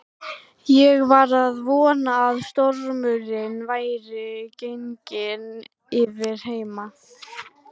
Ég var að vona að stormurinn væri genginn yfir heima.